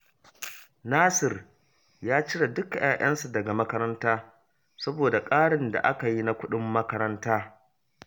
Nasir ya cire dukka 'ya'yansa daga makaranta, saboda ƙarin da aka yi na kudin makaranta